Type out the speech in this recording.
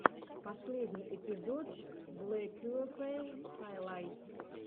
последний эпизод блэкюэфэй хайлайтс